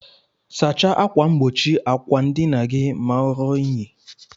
Sacha akwa ngbochi akwa ndina gi ma orụọ inyi.